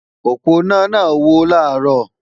Òponá náà wó làárò